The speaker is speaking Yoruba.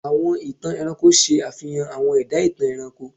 Àwọn ìtàn ẹranko ṣe àfihàn àwọn ẹ̀dá-ìtàn ẹranko.